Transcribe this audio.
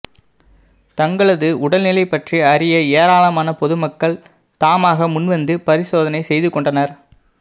தங்களது உடல் நிலை பற்றி அறிய ஏராளமான பொதுமக்கள் தாமாக முன்வந்து பரிசோதனை செய்து கொண்டனா்